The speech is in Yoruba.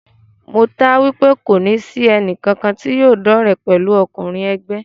Mo taá wipe kòní sì ẹnì kankan tí yóò dọ́re pẹ̀lú ọkùnrin ègbé